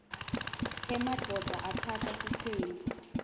emadvodza atsatsa sitsembu